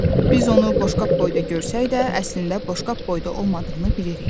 Biz onu boşqab boyda görsək də, əslində boşqab boyda olmadığını bilirik.